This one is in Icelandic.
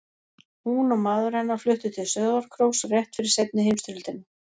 Hún og maður hennar fluttu til Sauðárkróks rétt fyrir seinni heimsstyrjöldina.